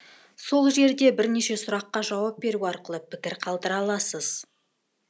сол жерде бірнеше сұраққа жауап беру арқылы пікір қалдыра аласыз